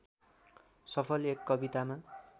सफल एक कवितामा